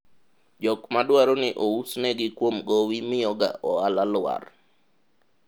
jok madwaro ni ousnegi kuom gowi miyo ga ohala lwar